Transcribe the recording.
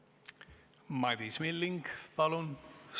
Madis Milling, palun!